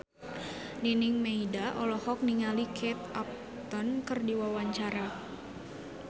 Nining Meida olohok ningali Kate Upton keur diwawancara